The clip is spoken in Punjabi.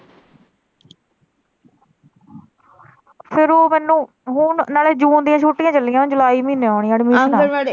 ਫੇਰ ਉਹ ਮੈਨੂੰ ਹੁਣ ਨਾਲੇ ਜੂਨ ਦੀਆਂ ਛੁੱਟੀਆਂ ਚੱਲੀਆਂ ਜੁਲਾਈ ਮਹੀਨੇ ਹੋਣੀਆਂ ਐਡਮਿਸ਼ਨਾ ।